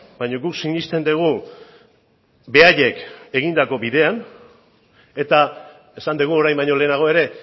baina guk sinesten dugu beraiek egindako bidean eta esan dugu orain baino lehenago ere